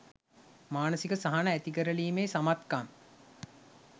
මානසික සහන ඇතිකරලීමේ සමත්කම්